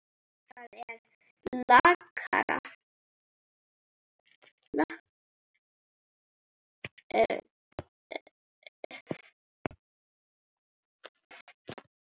Það er lakara.